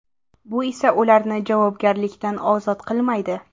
Bu esa ularni javobgarlikdan ozod qilmaydi.